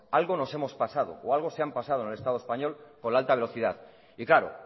algo nos hemos pasado o algo se han pasado en el estado español con la alta velocidad y claro